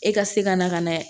E ka se ka na ka na